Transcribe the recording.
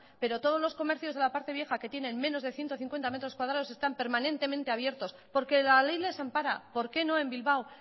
pero todos los comercios de la parte vieja que tienen menos de ciento cincuenta metros cuadrados están permanentemente abiertos porque la ley les ampara por qué no en bilbao